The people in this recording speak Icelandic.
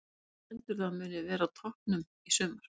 Hvaða lið heldurðu að muni verða á toppnum í sumar?